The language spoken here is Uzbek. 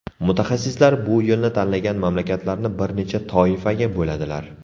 Mutaxassislar bu yo‘lni tanlagan mamlakatlarni bir necha toifaga bo‘ladilar.